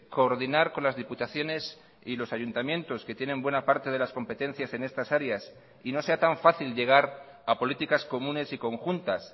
coordinar con las diputaciones y los ayuntamientos que tienen buena parte de las competencias en estas áreas y no sea tan fácil llegar a políticas comunes y conjuntas